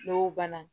N'o banna